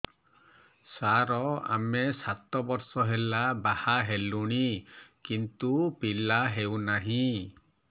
ସାର ଆମେ ସାତ ବର୍ଷ ହେଲା ବାହା ହେଲୁଣି କିନ୍ତୁ ପିଲା ହେଉନାହିଁ